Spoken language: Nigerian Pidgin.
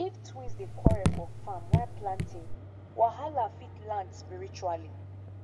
if twins dey quarrel for farm while planting wahala fit land spiritually